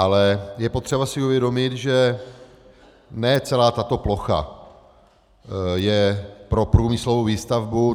Ale je potřeba si uvědomit, že ne celá tato plocha je pro průmyslovou výstavbu.